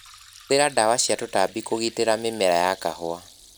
Hũthira ndawa cia tũtambi kũgitĩra mimera ya kahũa.